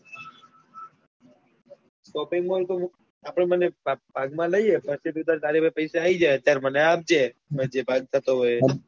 shopping mall તો આપડે બન્ને ભાગ માં લઈએ અને અને પછી તું તાર તાર પાસે પૈસા આવી જાય પછી મને આપજે જે ભાગ થતો હોય એ